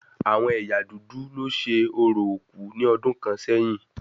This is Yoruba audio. Àwọn ẹ̀yà dúdú lo ṣe orò òkú ní ọdún kàn sẹ́yìn